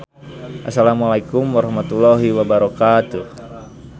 Assalamualaikum Warahmatullahi Wabarakatuh.